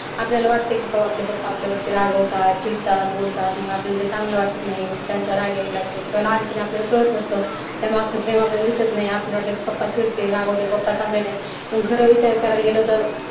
आपल्याला वाटते की केव्हा आपले पप्पा आपल्यावरती रागवतात, चिडतात, बोलतात मग आपल्याला ते चांगलं वाटत नाही. मग त्यांचा राग यायला लागतो किंवा लहानपणी आपल्याला कळत नसतं. त्यामागचं प्रेम आपल्याला दिसत नाही. आपल्याला वाटतं की पप्पा चिडतील, रागवतील, पप्पा चांगले नाहीत पण खरं विचार करायला गेलं,